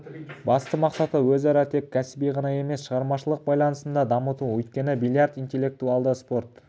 басты мақсаты өзара тек кәсіби ғана емес шығармашылық байланысын да дамыту өйткені бильярд интеллектуалды спорт